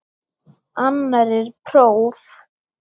Annar er próf.